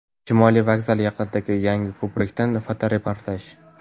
Shimoliy vokzal yaqinidagi yangi ko‘prikdan fotoreportaj.